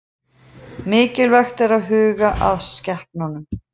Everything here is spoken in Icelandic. Mikilvægt að huga að skepnunum